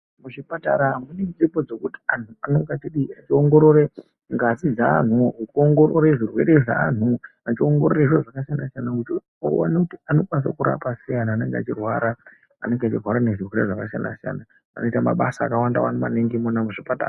Muzvipatara mune mbepo dzekuti andu anenge achiongorora ngazi dzevandu achiongorora zvirwere zvevandu achiongorora zvinhu zvakadiyana siyana kuti oonavkuti anokwanisa kurape sei vandu va enge vairwara vanorware nezvirwere zvakasiyana siyana anoita mabasa akawanda maningi muno muchipatara.